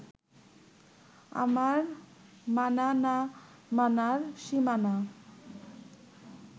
আমার মানা না মানার সীমানা